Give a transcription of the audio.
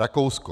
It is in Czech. Rakousko.